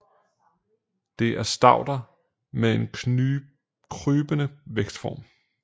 Det er stauder med en krybende vækstform